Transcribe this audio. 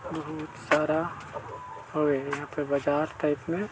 बहुत सारा यहाँ पे बाजार टाईप में--